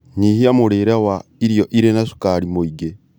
Nyihia mũrĩre wa irio irĩ na cukari mwĩingĩ